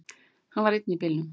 Hann var einn í bílnum.